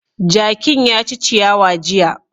Jakin ya ci ciyawa jiya.